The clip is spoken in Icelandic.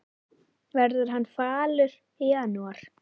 Verður hann falur í janúar?